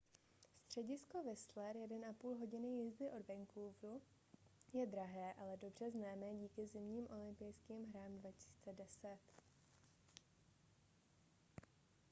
středisko whistler 1,5 hodiny jízdy od vancouveru je drahé ale dobře známé díky zimním olympijským hrám 2010